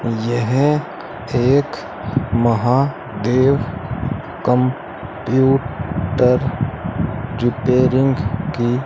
यह एक Mahadev computer repairing की --